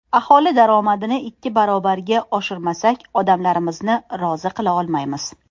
Aholi daromadini ikki barobarga oshirmasak, odamlarimizni rozi qila olmaymiz.